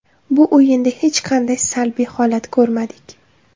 Bu o‘yinda hech qanday salbiy holat ko‘rmadik.